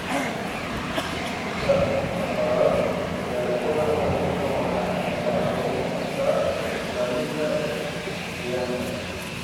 Ta afraad, beerashada kalluunka waxa ay ka caawin kartaa ilaalinta deegaanka.